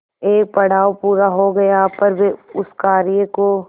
एक पड़ाव पूरा हो गया पर वे उस कार्य को